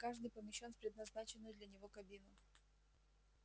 и каждый помещён в предназначенную для него кабину